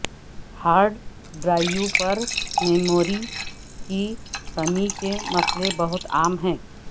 hard drive پر memory کی کمی کے مسئلے بہت عام ہے